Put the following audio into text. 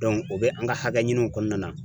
o bɛ an ka hakɛ ɲiniw kɔnɔna na